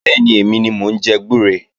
Bẹ́ẹ̀ni, èmi ni mò ń jẹ gbúre